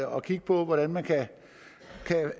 og kigge på hvordan man kan